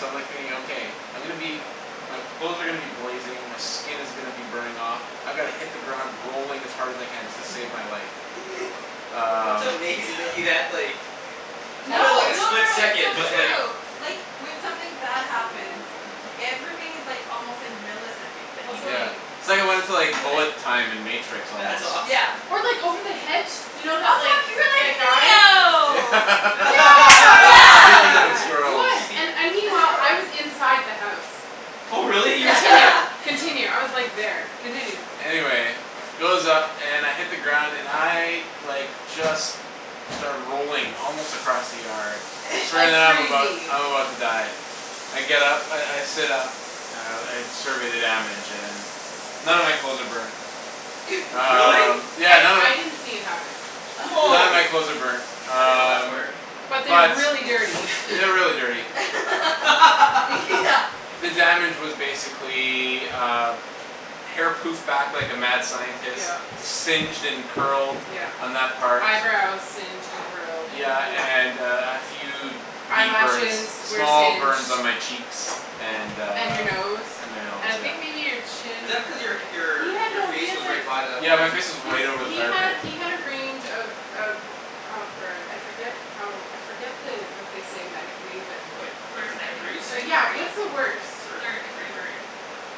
So I'm like thinking okay, I'm gonna be, my clothes are gonna be blazing, my skin is gonna be burning off, I gotta hit the ground rolling as hard as I can just to save my life. That's Um amazing that you had like, it probably was No, like no a no split no it's second, so but true. Like like when something bad happens y- everything is like almost like milliseconds, like you Also Yeah. can It's like I wanted to like feel it. bullet time in matrix That's almost. Yeah. awesome. Or like over the hedge, you know that like, Oh that guy. fuck, you Yeah. were like Neo! Speaking of Yes. Yes! It squirrels. was and and meanwhile, I was inside the house. Oh really, you were Continue. there? Continue. I was like there. Continue. Anyway it goes up and I hit the ground and I like just start rolling, almost across the yard. Like I'm about crazy. I'm about to die. I get up, I I sit up and I survey the damage and none of my clothes are burned. Really? Um yeah I none of I didn't see it happen. None of Wow, my clothes are burned. I didn't know that Um part. But but they're they're really dirty. really dirty. Yeah. The damage was basically, uh, hair poofed back like a mad scientist, Yep. Yep. singed and curled Yep. on that part. Eyebrows singed and curled. Yeah and uh and a few deep burns, Eyelashes were small singed. burns on my cheeks. And uh And your nose. And my nose And I yeah. think maybe your Is chin. that because your He your had your no he face had was like, right by the Yeah my flame? face was he's right over the he fire had pit. he had a range of of of burns, I forget how, I forget the what they say medically but Like First, different second or degrees? third yeah, degree? what's the worst? Third. Third Third degree degree. burn.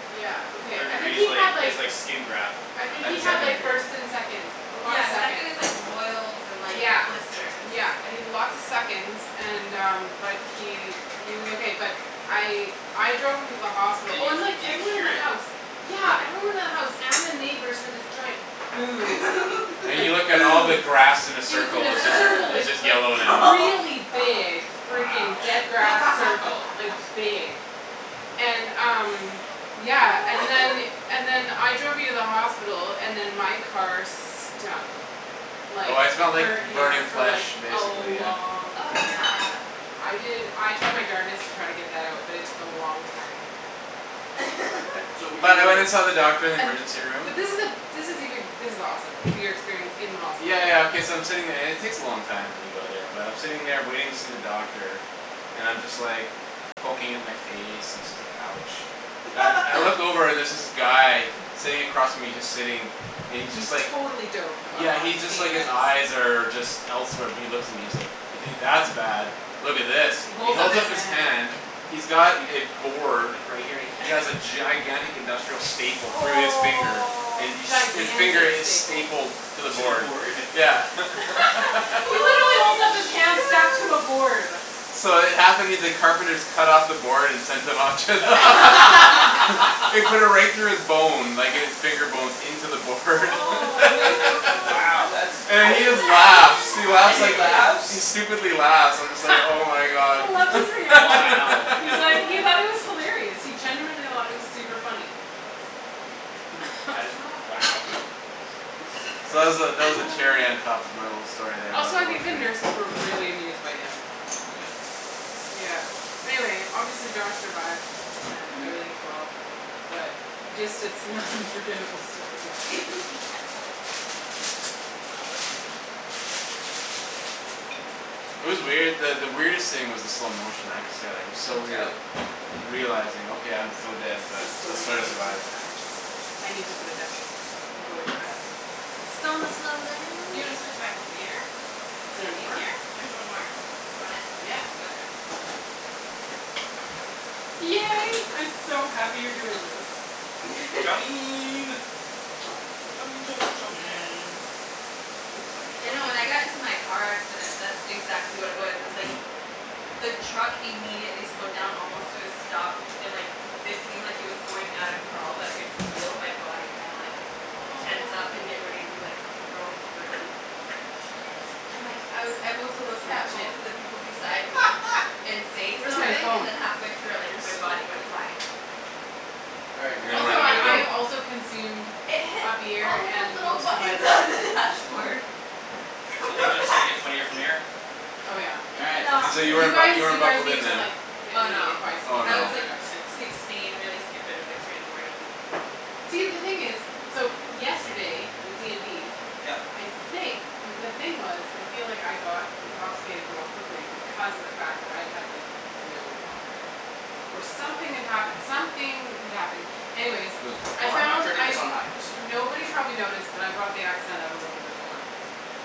Yeah okay, Third I degree think is he had like, is like skin graft I I think had he Yeah. had second like degree. first and seconds, a lot of Yeah second is seconds. like boils and like Yeah, blisters. yeah I he had think. lots of seconds and um but he he was okay but I I drove him to the hospital, Did oh you and like did you everyone in hear the house, it? yeah everyone in the house and the neighbors heard this giant boom. And Like you look at all boom! the And grass in a it was in circle, it's a just circle, it's like just like yellow now. Oh really fuck. big Wow. freaking dead grass circle, like big. And um yeah, and then and then I drove you to the hospital, and then my car stunk Oh like I smelled like burnt burning hair for flash like a basically yeah. long Oh yeah. time. I did I tried my darnedest to try to get that out but it took a long time. So were you But I went and saw the doctor in the And, emergency room. but this is the this is even, this is awesome, your experience in the hospital. Yeah yeah okay so I'm sitting there and it takes a long time when you go there but I'm sitting there waiting to see the doctor and I'm just like, poking at my face and so it's like ouch. But I look over and there's this guy, sitting across from me, and he's just sitting, and he's just He's like totally doped up Yeah on he's just like, pain his meds. eyes are just elsewhere but he looks at me and he's like, "You think that's bad, look at this." He He holds up holds his up his hand. hand, he's got a Susie. board, right here, he has a gigantic industrial staple through his finger Oh. and his finger Gigantic is staple. stapled to the To the board. board? Yeah. He literally holds up his Holy hand stacked to a shoot. board. So it the carpenters cut off the board and sent him to the hos- They put it right through his bone, like his finger bones, in to the board How Wow that's, And he does just laughs. He that and laughs he like, even happen? he laughs? stupidly laughs, and I'm just like oh my god. I loved his reaction. Wow. He's like, he God. thought it was hilarious. He genuinely it was super funny. That is wow. Gosh. That's So that was the, impressive. that was the cherry on top of my little story there Also I think the nurses were really amused by him. Yeah. Yeah. Anyway, obviously Josh survived and everything's well. But just it's an unforgettable story. Yeah. Wow, that's interesting. It was weird that the weirdest thing was the slow motion, I have to say like it was No so weird doubt. realizing okay, I'm so dead This but is let's going try to way too survive. fast. I need to put it down. I'm going too fast. It's gonna slow down. You wanna switch back to beer? Is Is there it more? easier? There's one more. You want it? Yeah. Okay. Yay, I'm so happy you're doing this. Chow! Chow chow chow mein. Chow mein You chow know mein when chow I got in to mein chow my car accident mein that's exactly what it was. It was like, the truck immediately slowed down almost to a stop and like it seemed like it was going at a crawl but I could feel my body kinda like Oh. tense up and get ready to be like, thrown through. Oh you're using And like I was able to look at that's legit. both of the people beside me and say Where's my something and phone? then halfway through I like, You're my so body went funny. flying. All right Do you Kara, know Also where I'm did it I go? have gonna also consumed It hit a beer all of the and little most of my buttons on bourbon. the dashboard. So From the things are just gonna get funnier from backseat. here? Oh yeah. All right, sounds good So to you You weren't me. bu- guys, you weren't you guys buckled in need to then. like hit Oh me no. if I speak Oh in I no. was like another accent. sixteen really stupid, it was like three in the morning. See the thing is, so yesterday with D and D, Yep. I think the thing was, I feel like I got intoxicated more quickly because of the fact that I had like no water. Or something had happened, something had happened. Anyways, I I'm found turning I this on high, just so you know. nobody probably Okay. noticed but I brought the accent out a little bit more.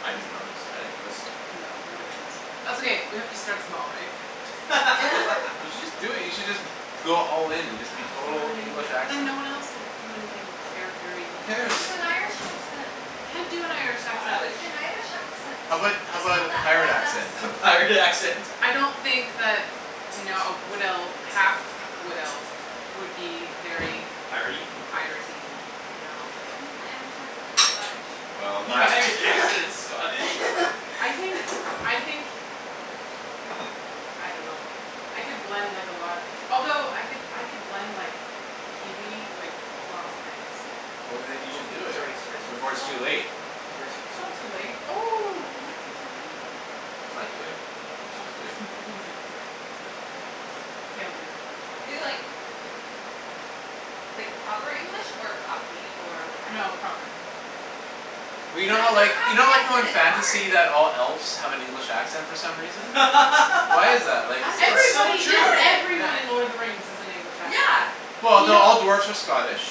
I didn't notice. I didn't notice. No, nobody noticed. That's okay, we have to start small right? You should just do it, you should just go all in and just be Aw total fine, English but then accent. no one else will do anything charactery. Who Aw, cares? do an Irish accent. I can't do an Irish accent. Do Irish. an Irish accent. How about how It's about not a that pirate hard accent? lass. A pirate accent! I don't think that no a wood elf, a half wood elf would be very Piratey? piratey, no. I think my Irish accent is Scottish. Well, Your that Irish accent is Scottish? I think, I think, I don't know I could blend like a lot of, although I could I could blend like Kiwi with lots of things. Well then you should do Okay, it sorry sorry before it's Oh. too sorry. late. Sorry sorry It's sorry. not too late. Oh, it might be too late. It's not Okay. too late. You should All just do it. right he's like it's okay, it's not too late. Okay I'll do it. Is it like like proper English or Cockney or what kind? No, proper. Yeah. Well you know how Can't do a like, you know Cockney like how accent, in it's fantasy hard! that all elves have an English accent for some reason? Why is that, like is it It's so Everybody in true! Yeah. Yeah. everyone in Lord of the Rings has an English accent. Yeah. Well You no, know all dwarves are Scottish.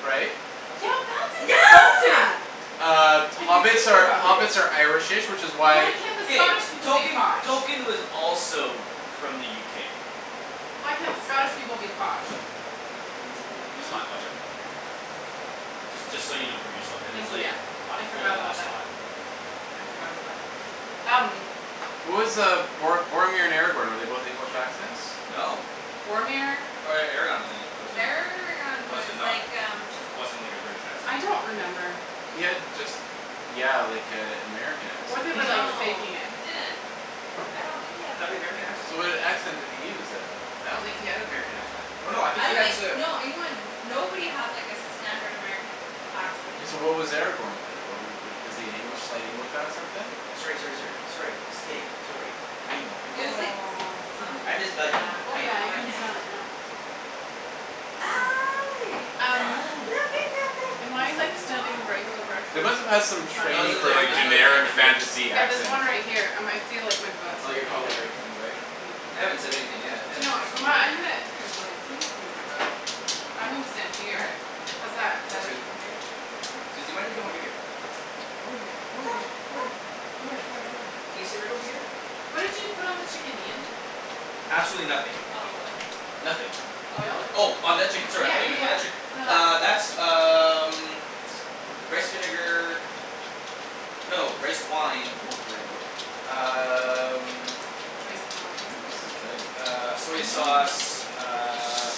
Right? Yeah that's insulting! Yeah! Uh If you hobbits think are about it. hobbits are irish-ish which is why Why can't the K. Scottish people be Tolkien, posh? Tolkien was also f- from the UK. Why can't the Scottish people be posh? It's hot, watch out. Just just so you don't burn yourself because it's Thank like you. Yeah. on I full forgot about blast that. hot. I forgot about that. Um. What was uh Bor- Boromir and Aragorn, were they both English accents? No. Boromir? Or Aragorn wasn't he wasn't Aragorn was was it like um just not, wasn't like a British accent. I don't remember. He had just yeah like a American Or accent they were basically. like Mhm. No faking it. he didn't. I don't think he had an American American accent. So what accent did he use then? I don't think he had an American accent, I th- oh no I think I he don't had think, to no anyone nobody had like a standard American accent. So what was Aragorn then wha- was is he an English, slight English accent then? Sorry sorry sorry. Sorry, stay, sorry. I know, I'm It just was like bugging you. Aw someth- I'm Susie. just bugging yeah, you, Oh I I don't know yeah know. I I I can can't smell really it know. now. Hi! Um, look Hi. at am that I like big standing right smile. They directly must've had some in front of No it's training this in the, for like there's camera? another generic camera here. fantasy Yeah there's accent. one right here I might feel like my butt's Oh in you're front of probably it. right in the way? Yeah. They haven't said anything yet, they Do you haven't know what, texted um me my I'm gonna, yet. they're like, please move your butt. I'm gonna stand All here. right. How's that, is that That's good. uh okay? Susie why don't you come over here? Come here, come Go! over here, come Go! here, come here, come here, come here. Can you sit right over here? What did you put on the chicken Ian? Absolutely nothing. Olive oil. Nothing. Olive Oil? oil. Oh on that chicken sorry I Yeah thought you yeah meant yeah. about that chick- No Uh that that's um rice vinegar. No, rice wine, ooh we're ready to go. Um. Rice wine? Uh I soy know. sauce, uh.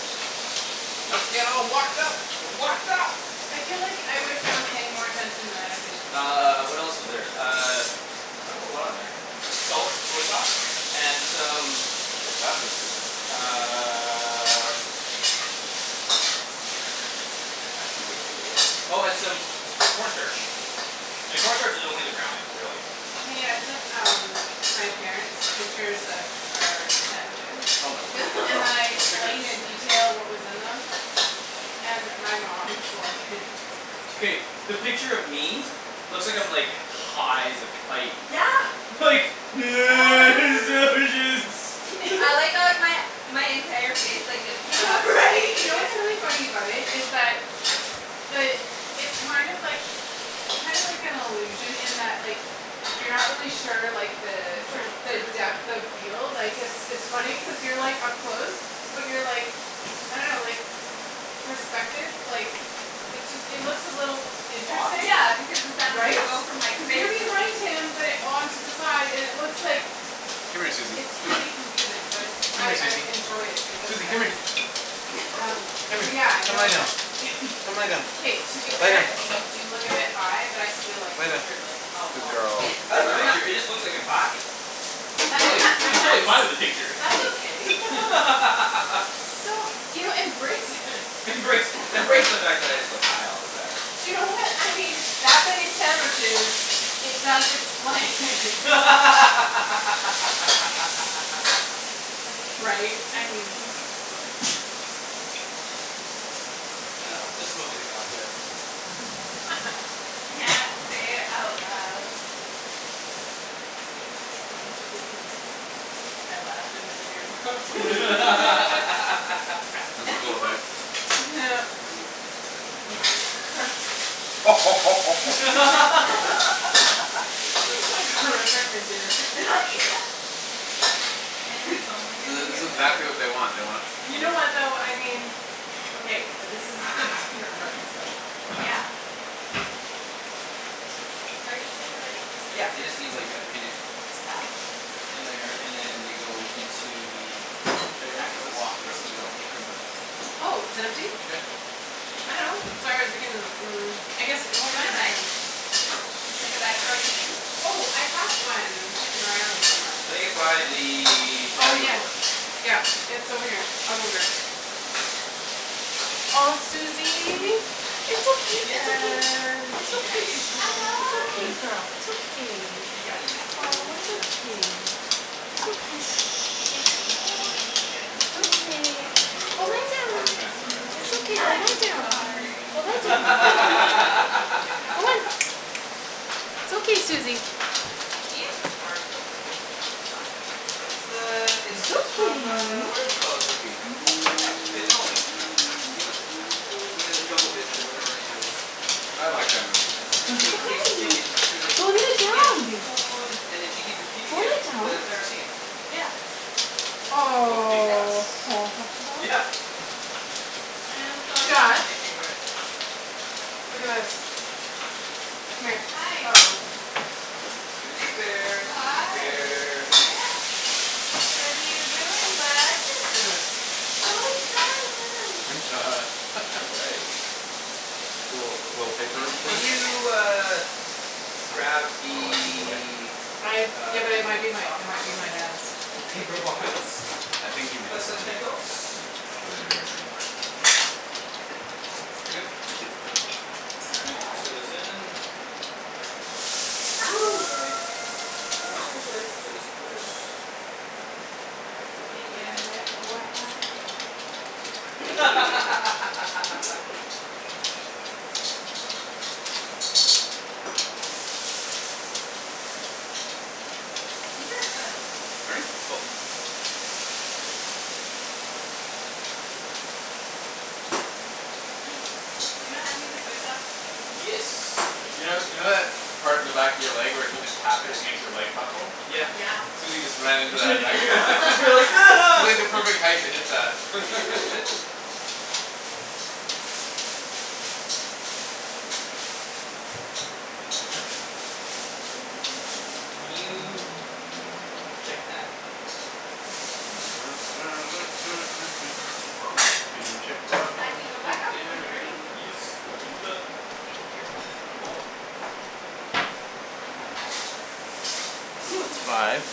Let's get all wokd up! Wokd up! I feel like I wish I was paying more attention than I have been. Uh, what else is there, uh, not a whole lot on there. Salt, soy sauce, and some how fast it's cooking uh Oh and some corn starch. And corn starch is only to brown it, really. Hey I sent um my parents pictures of our sandwiches, Oh my word. and then I Those explained in pictures. detail what was in them. And my mom was like K, the picture of me, looks like I'm like high as a kite. Yeah. Like, sandwiches. I like how like my my entire face like gets You cut know off what's funny, right. you know what's really funny about it is that, the it's kind of like, it's kind of like an illusion in that like you're not really sure like the Oops sorry the depth of field like cuz it's it's funny cuz you're like up close. But you're like, I don't know like, perspective like, it just it looks a little Off. interesting, Yeah because the sound of right? it Cuz you're behind him but on to the side and it looks like, Come here Susie, it's come here really confusing but it's Come I here I Susie. enjoy it because of Susie that come here. reason. Um, Come here. but yeah, Come lie no, down. Come lie down. k to be Lie fair down. you do look a bit high but I still like the Lie down. picture like a Good lot. girl. It just looks like I'm high. I'm and totally I'm totally fine with the that's, picture. that's okay. So, you know embrace it Embrace, embrace the fact that I just look high all the time. You know what, I mean that many sandwiches, it does explain Right, I mean. it's funny. Yeah. Say it out loud. I laughed in to the beer bottle go ahead. This is like horrific material. Yeah. And it's only This gonna is this get is better. exactly what they want, they want You know what though, I mean, okay but this is a dinner party so. Yeah. Are you sure they're ready? Yeah they just need like a minute. Oh. In there, and then they go into the Kara you wanna put actual this, wok and where's this steam go, out. Oh, is it empty? Yeah. I dunno. Mm, I guess it Do you won't. wanna bag? Huh? Like a bag for all your things? Oh, I have one kicking around somewhere. I think it's by the Oh, patio yes. door. Yeah, it's over here. I'll go get it. Aw Suzy, it's okay, it's okay. Chicken! It's Chicken okay, is shh, it's okay good girl, it's okay. Chicken is Aw, it's good. okay. It's okay, shh. Mm, chicken is good. Chicken is It's good. okay. Chicken is Go lie good. down. Poor transcribers. It's okay. Go lie I'm down. sorry! Go lie down. Go on. It's okay, Suzy. Ian started it. It's the, it's, It's it's from okay. uh, whatever you call it movie. What? Fifth Element. Mila, Mina Johovich or whatever her name is. When she I like finds, that movie. when That's she movie. tastes chicken she's like, Go lie "Chicken down is babe. good" and then she keeps repeating Go it lie for down. the entire scene. Yeah. Multipass. Aw. Yeah! Man, this always been one Josh? of my favorites. Look at this. Come here. Hi. uh-oh. Suzy bear, Suzy Hi! bear. What are you doing, bud? Look at this. So excited. All right. Cool. The little paper Can thing? you uh, grab What a lucky boy. the I, yeah, uh, but it might chicken be my, stock it might for be me my dad's oh from the paper fridge bots. please? Yeah. I think he made it Please and though. thank yous. It's But at the maybe very we'll very see. bottom. Thank you. Awesome All right, let's throw this in. Actually no. Ooh, sorry! Ooh Ah! sorry sorry, let's throw this in first. Let that go Maybe I, I away F won't y i scream. Ginger or garlic? Pardon me? Both. Mm, you don't have any of the soy sauce? Yes, I You keep know, in you know there. that part of the back of your leg where if you just tap it, it makes your leg buckle? Yeah. Yeah. Suzy just ran You're into like that back to hit that Can you check that? Can you check the That can go back up when you're ready. Yes, I can do that. Thank you. Now that's five. Suzy!